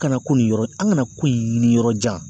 Kana ko nin yɔrɔ an kana ko in ɲini yɔrɔ jan.